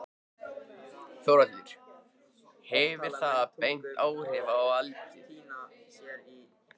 Þórhallur: Hefur það bein áhrif á eldið?